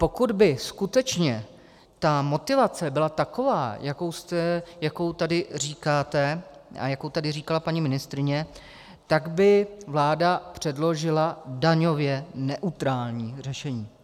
Pokud by skutečně ta motivace byla taková, jakou tady říkáte a jakou tady říkala paní ministryně, tak by vláda předložila daňově neutrální řešení.